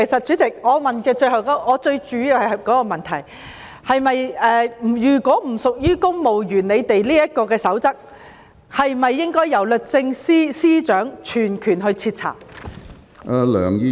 主席，我主要想問，如果不屬於《公務員守則》的規管範圍，此事是否應由律政司司長全權徹查？